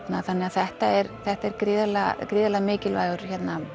þetta er þetta er gríðarlega gríðarlega mikilvægur